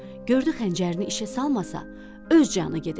Gördü xəncərini işə salmasa, öz canı gedəcək.